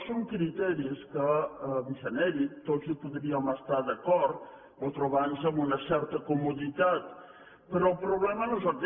són criteris que en genèric tots hi podríem estar d’acord o trobar nos en una certa comoditat però el problema no és aquest